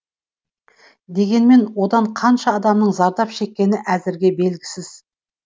дегенмен одан қанша адамның зардап шеккені әзірге белгісіз